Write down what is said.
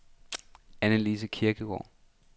Anne-Lise Kirkegaard